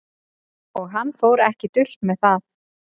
Og hann fór ekki dult með það.